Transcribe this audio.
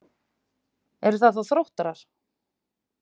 Eru það þá Þróttarar?